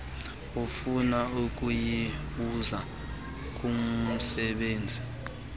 ofuna ukuyibuza kumsebenzi